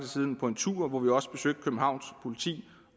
siden på en tur hvor vi også besøgte københavns politi